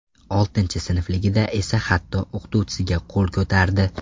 Oltinchi sinfligida esa hatto o‘qituvchisiga qo‘l ko‘tardi.